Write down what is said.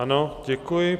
Ano, děkuji.